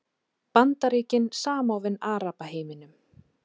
Bandaríkin samofin Arabaheiminum